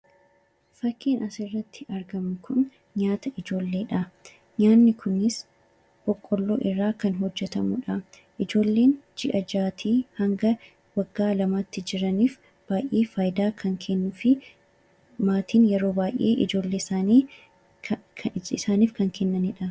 Fakkiin asirratti argamu kun nyaata ijoolleedha. Innis boqqolloo irraa kan hojjetamudha. Ijoolleen ji'a jahaatii hanga waggaa lamaatti jiraniif baay'ee faayidaa kan kennuu fi maatiin yeroo baay'ee ijoollee isaaniif kan kennanidha.